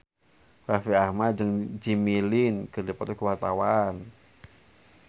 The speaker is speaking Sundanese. Raffi Ahmad jeung Jimmy Lin keur dipoto ku wartawan